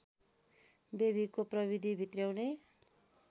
बेबीको प्रविधि भित्र्याउने